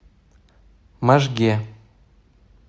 можге